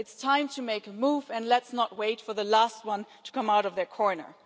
It's time to make a move, and let's not wait for the last one to come out of their corner.